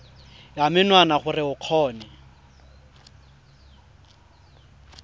ya menwana gore o kgone